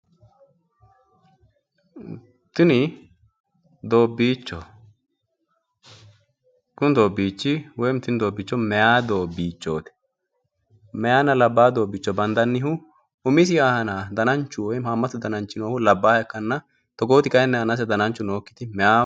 Tini doobbichoho kuni doobbichi woyim tini doobbicho meyaa doobbichooti meyaanna labba doobbicho bandannihu umisi aana dananchu woym haamatu dananchi labbaha ikkana togooti kayiinni aanase dananchu nookkiti meyaate.